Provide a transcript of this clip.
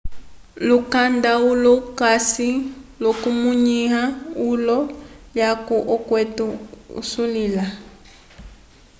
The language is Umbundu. lukanda ulo ukasi l'okukwamĩwa eyulo lyaco okwete isulila